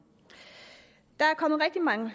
der er kommet rigtig mange